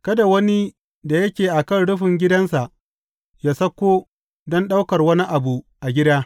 Kada wani da yake a kan rufin gidansa, yă sauko don ɗaukar wani abu a gida.